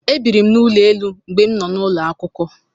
E biri m n'ụlọ elu mgbe m nọ n'ulo akwụkwọ.